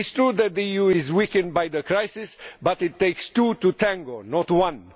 It is true that the EU is weakened by the crisis but it takes two to tango, not one.